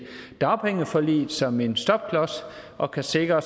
dagpengeforliget som en stopklods og kan sikre